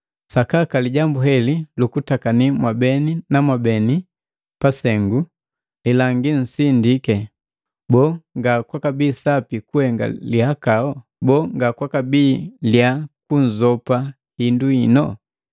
Sakaka lijambu heli lukutakani mwabeni na beni kusengu, lilangi nsindiki! Boo, nga kwakabii sapi kuhenge lihakau? Boo, nga kwakabii liya kunzopa hindu hino?